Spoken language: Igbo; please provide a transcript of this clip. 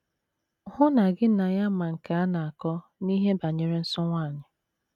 Hụ na gị na ya ma nke a na - akọ n’ihe banyere nsọ nwanyị.